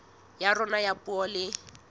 ya rona ya puo le